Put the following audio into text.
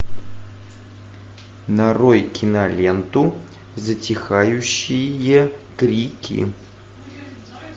нарой киноленту затихающие крики